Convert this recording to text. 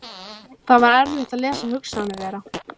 Það var erfitt að lesa hugsanir þeirra.